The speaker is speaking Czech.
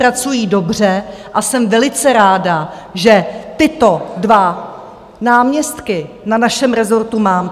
Pracují dobře a jsem velice ráda, že tyto dva náměstky na našem rezortu mám.